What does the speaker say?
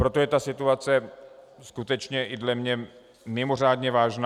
Proto je ta situace skutečně i podle mne mimořádně vážná.